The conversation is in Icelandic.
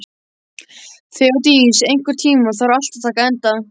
Þeódís, einhvern tímann þarf allt að taka enda.